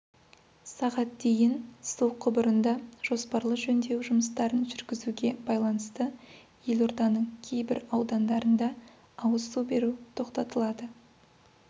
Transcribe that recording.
сағат дейін су құбырында жоспарлы жөндеу жұмыстарын жүргізуге байланысты елорданың кейбір аудандарында ауыз су беру тоқтатылады